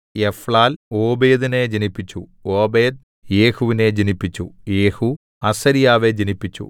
Ephlal ഓബേദിനെ ജനിപ്പിച്ചു Obed യെഹൂവിനെ ജനിപ്പിച്ചു യെഹൂ അസര്യാവെ ജനിപ്പിച്ചു